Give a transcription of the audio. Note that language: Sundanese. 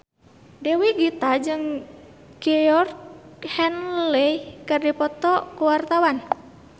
Dewi Gita jeung Georgie Henley keur dipoto ku wartawan